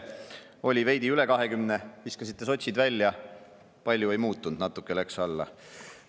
Oli veidi üle 20%, viskasite sotsid välja, palju ei muutunud, natuke läks alla.